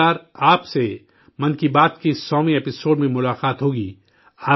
اگلی بار، آپ سے 'من کی بات' کے سوویں 100ویں ایپی سوڈ میں ملاقات ہوگی